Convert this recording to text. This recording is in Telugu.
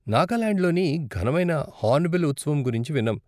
నాగాలాండ్లోని ఘనమైన హార్న్బిల్ ఉత్సవం గురించి విన్నాం.